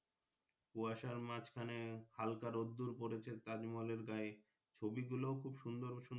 কুশার মাঝখানে হালকা রোদ্দূর পড়েছে তাজমহলের গায়ে ছবি গুলো খুব সুন্দর সুন্দর।